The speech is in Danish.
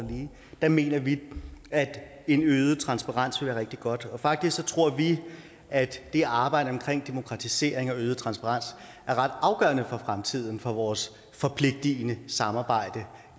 der mener vi at en øget transparens vil være rigtig godt og faktisk tror vi at det arbejde omkring demokratisering og øget transparens er ret afgørende for fremtiden altså for vores forpligtende samarbejde